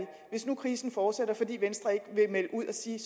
hvis nu krisen fortsætter fordi venstre ikke vil melde ud og sige